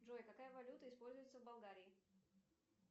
джой какая валюта используется в болгарии